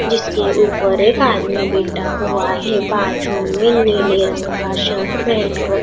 जिसके ऊपर एक आदमी बैठा हुआ है बाजू में नीले रंग का शर्ट पहन कर--